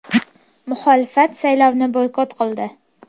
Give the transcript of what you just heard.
Muxolifat saylovni boykot qildi.